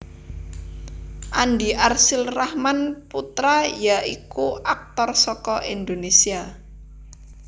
Andi Arsyil Rahman Putra ya iku aktor saka Indonésia